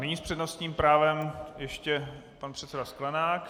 Nyní s přednostním právem ještě pan předseda Sklenák.